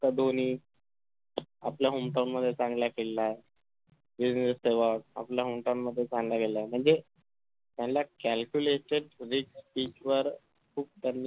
धोनी आपल्या home town मध्ये चांगला केलेला आह वीरेंद्र सेहवाग आपल्या home town चांगलं केलेला आहे म्हणजे याना calculated reach pitch वर खुप